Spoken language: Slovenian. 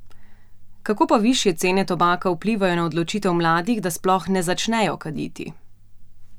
Kako pa višje cene tobaka vplivajo na odločitev mladih, da sploh ne začnejo kaditi?